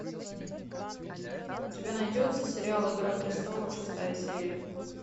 у тебя найдется сериал игра престолов шестая серия